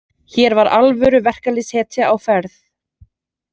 Hér var alvöru verkalýðshetja á ferð.